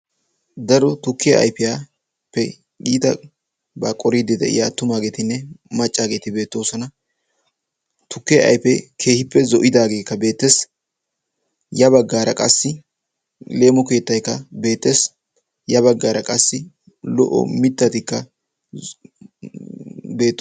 Daro tukkiya ayfiyappe itabaa qooridi de'iyaa attumageetinne maccaageeti beettoosona. Tukke ayfe keehippe zo'idaageekka beettees, ya baggaara qassi leemo keettaykka beettees. Ya bagaara qassi lo''o mittatikka beettoo...